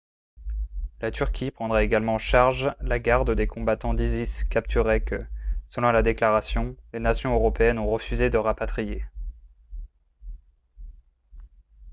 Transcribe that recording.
la turquie prendrait également en charge la garde des combattants d'isis capturés que selon la déclaration les nations européennes ont refusé de rapatrier